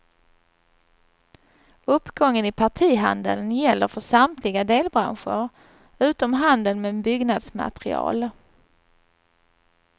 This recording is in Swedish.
Uppgången i partihandeln gäller för samtliga delbranscher utom handeln med byggnadsmaterial.